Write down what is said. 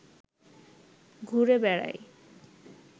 ঘুরে বেড়াই